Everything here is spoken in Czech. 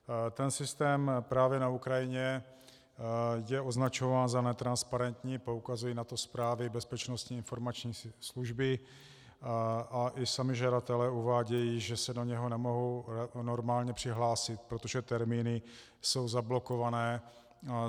Ten systém právě na Ukrajině je označován za netransparentní, poukazují na to zprávy Bezpečnostní informační služby a i sami žadatelé uvádějí, že se do něho nemohou normálně přihlásit, protože termíny jsou zablokované.